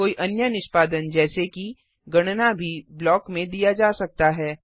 कोई अन्य निष्पादन जैसे कि गणना भी ब्लॉक में दिया जा सकता है